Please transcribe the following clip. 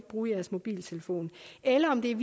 bruge deres mobiltelefoner eller er